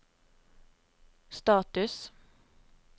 status